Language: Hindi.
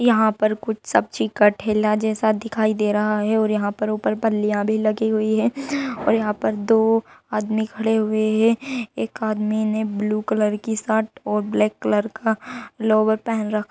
यहाँ पर कुछ सब्जी का ठेला जैसा दिखाई दे रहा है और यहाँ पर ऊपर पल्लियाँ भी लगी हुई है और यहाँ पे दो आदमी खड़े हुए है। एक आदमी ने ब्लू कलर का शर्ट और ब्लैक कलर का लोअर पहन --